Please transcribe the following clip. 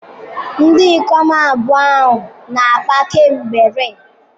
Ndị ikom abụọ ahụ na-akpa kemgbe rii.